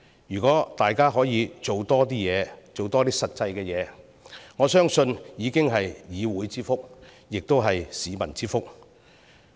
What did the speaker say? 如果大家可以多做實事，我相信已是議會之福，亦是市民之福。